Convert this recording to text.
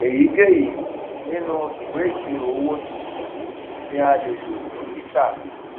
èyíkéyìí nínú ìwé ìṣirò owó tuntun ni a lè lò fún títà